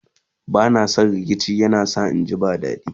bana San rikici yana sa inji ba dadi